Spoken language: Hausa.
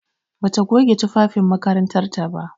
Bata goge tufafin makarantar ta ba.